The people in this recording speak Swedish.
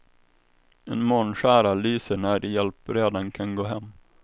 En månskära lyser när hjälpredan kan gå hem.